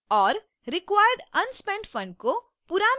required unspent funds को